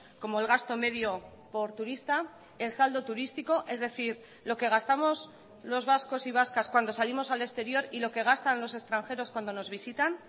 como el gasto medio por turista el saldo turístico es decir lo que gastamos los vascos y vascas cuando salimos al exterior y lo que gastan los extranjeros cuando nos visitan